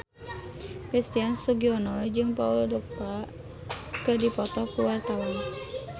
Christian Sugiono jeung Paul Dogba keur dipoto ku wartawan